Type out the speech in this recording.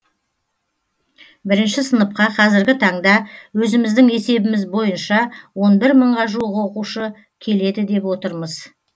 бірінші сыныпқа қазіргі таңда өзіміздің есебіміз бойынша он бір мыңға жуық оқушы келеді деп отырмыз